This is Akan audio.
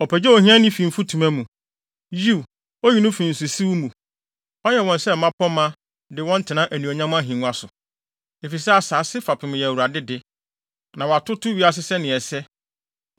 Ɔpagyaw ohiani fi mfutuma mu Yiw, oyi no fi nsosiw mu! Ɔyɛ wɔn sɛ mmapɔmma, de wɔn tena anuonyam ahengua so. “Efisɛ asase fapem yɛ Awurade de, na watoto wiase sɛnea ɛsɛ.